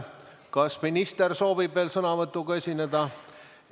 Kas minister soovib veel sõnavõtuga esineda?